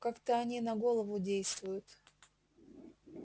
как-то они на голову действуют